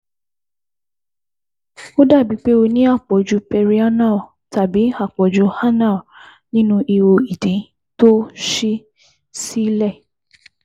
Ó dàbíi pé o ní àpọ̀jù Perianal tàbí àpọ̀jù Anal nínu ihò ìdí tó ṣí sílẹ̀